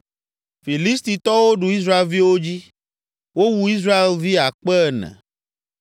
Filistitɔwo ɖu Israelviwo dzi; wowu Israelvi akpe ene.